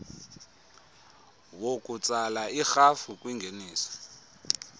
wokutsala irhafu kwingeniso